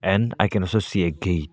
And I can also see a gate.